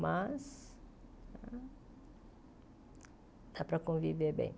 Mas dá para conviver bem.